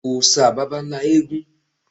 Òòṣà baba ńlá ni eégún.